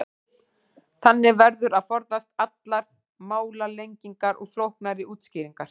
Þannig verður að forðast allar málalengingar og flóknari útskýringar.